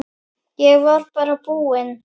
Ég var bara búinn.